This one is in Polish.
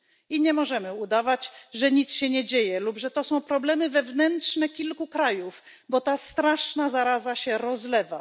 I nie możemy udawać, że nic się nie dzieje lub że to są problemy wewnętrzne kilku krajów, bo ta straszna zaraza się rozlewa.